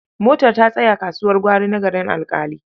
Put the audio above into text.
Motar ta tsaya kasuwar gwari na Garin Alƙali.